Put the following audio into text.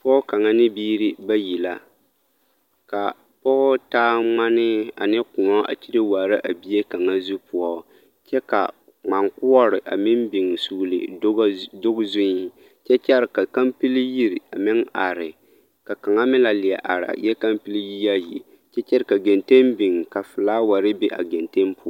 Pɔge kaŋa ne biiri bayi la, k'a pɔge taa ŋmanee ane kõɔ a kyire waara a bie kaŋa zu poɔ kyɛ ka ŋmaŋkoɔre a meŋ biŋ sugili doge zuŋ kyɛ kyɛre ka kampili yiri a meŋ are ka kaŋa meŋ la leɛ are, a eɛ kampili yie ayi kyɛ kyɛre ka genteŋ biŋ ka filaaware be a genteŋ poɔ.